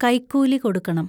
കൈക്കൂലി കൊടുക്കണം.